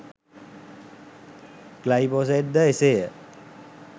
Glyphosate ද එසේය.